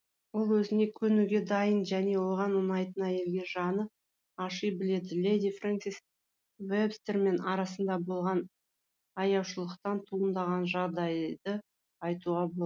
ол өзіне көнуге дайын және оған ұнайтын әйелге жаны аши біледі леди фрэнсис вебстермен арасында болған аяушылықтан туындаған жағдайды айтуға